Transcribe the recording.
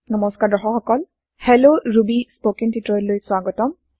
নমস্কাৰ দৰ্শক সকল হেল্ল ৰুবি স্পৌকেন টিওটৰিয়েল লৈ স্বাগতম